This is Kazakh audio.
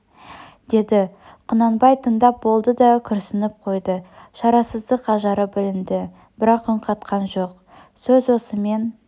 деді құнанбай тыңдап болды да күрсініп қойды шарасыздық ажары білінді бірақ үн қатқан жоқ сөз осымен